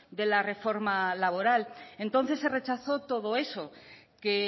de la reforma laboral entonces se rechazó todo eso que